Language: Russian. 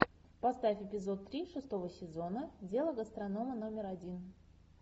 поставь эпизод три шестого сезона дело гастронома номер один